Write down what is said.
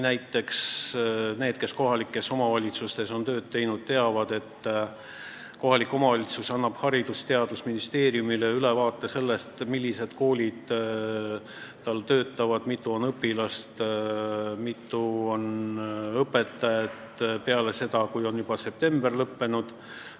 Näiteks need, kes on kohalikes omavalitsustes tööd teinud, teavad, et kohalik omavalitsus annab Haridus- ja Teadusministeeriumile ülevaate sellest, millised koolid tal töötavad, mitu õpilast ja õpetajat tal on peale seda, kui september on lõppenud.